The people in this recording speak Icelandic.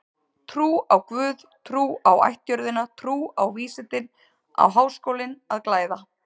Trú á guð, trú á ættjörðina, trú á vísindin á Háskólinn að glæða.